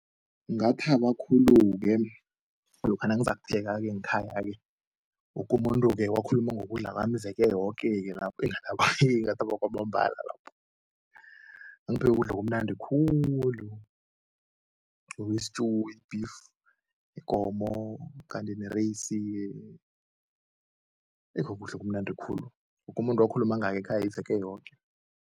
Ngathaba khulu-ke lokha nangizakupheka-ke ngekhaya-ke, woke umuntu-ke wakhuluma ngokudla kwami iveke yoke-ke lapho eh ngathaba ngathaba kwamambala lapho. Ngangipheke ukudla okumnandi khulu i-stew, i-beef, ikomo kanti nereyisi-ke eh kukudla okumnandi khulu, woke umuntu wakhuluma ngayo ekhaya iveke yoke.